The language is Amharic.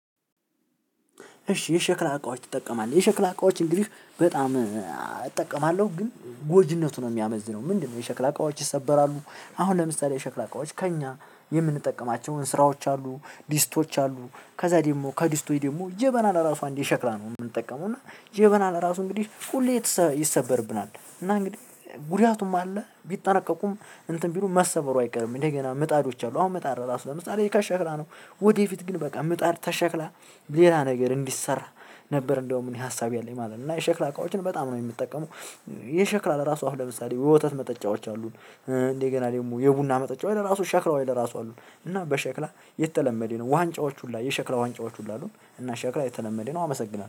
እሺ! የሸክላ እቃዎች ትጠቀማለህ? የሸክላ እቃዎች እንግዲህ በጣም እጠቀማለሁ። ግን ጎጂነቱ ነው የሚያመዝነው። ምንድነው? የሸክላ አቃዎች ይሰበራሉ። አሁን ለምሳሌ የሸክላ አቃዎች ከእኛ የምንጠቀማቸው እንስራዎች አሉ፤ ዲስቶች አሉ፤ ከዛ ደግሞ ከድስቶች ደግሞ ጀበናን እራሱ እንደ ሸክላ ነው የምንጠቀመው። እና ጀበና እራሱ እንግዲህ ሁሌ ይሰበርብናል። እና እንግዲህ ጉዳቱም አለ። ቢጠነቀቁም እንትን ቢሉ መሰበሩ አይቀርም። እንደገና ምጣዶች አሉ። አሁን ምጣድ እራሱ ለምሳሌ: ከሸክላ ነው። ወደፊት ግን በቃ ምጣድ ከሸክላ ሌላ ነገር እንዲሰራ ነበር። እንደውም እኔ ሀሳብ ያለኝ ማለት ነው። እና የሸክላ እቃዎችን በጣም ነው የምጠቀመው። የሸክላ ለራሱ አሁን ለምሳሌ የወተት መጠጫዎች አሉን። እንደገና ደግሞ የቡና መጠጫዎች ለራሱ ሸክላዎች ለራሱ አሉን እና በሸክላ የተለመደ ነው ዋንጫዎቹ ሁሉ የሸክላ ዋንጫዎቹ ሁሉ አሉ። እና ሸክላ የተለመደ ነው። አመሰግናለሁ።